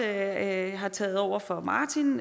at jeg har taget over fra martin